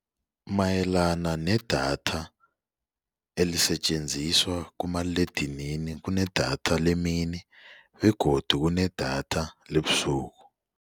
Mayelana nedatha elisetjenziswa kumaliledinini kunedatha lemini begodu kunedatha lebusuku.